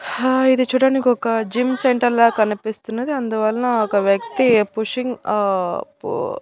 హా ఇది చూడనికి ఒక జిమ్ సెంటర్ లా కనిపిస్తున్నది అందువల్ల ఒక వ్యక్తి పుషింగ్ ఆ పూ--